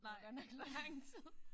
Nej det var godt nok lang tid